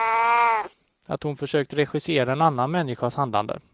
Att hon försökt regissera en annan människas handlande.